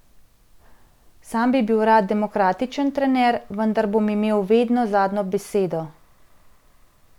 Sam bi bil rad demokratičen trener, vendar bom imel vedno zadnjo besedo.